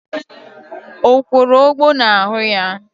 O kworo ogbo n'ahụ ya?